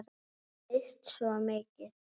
Við höfum misst svo mikið.